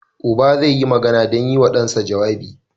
Uba zai yi magana don yi wa ɗansa jawabi.